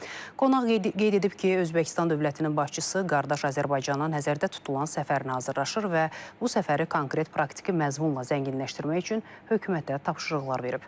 Qonaq qeyd edib ki, Özbəkistan dövlətinin başçısı qardaş Azərbaycana nəzərdə tutulan səfər nazirlaşır və bu səfəri konkret praktiki məzmunla zənginləşdirmək üçün hökumətə tapşırıqlar verib.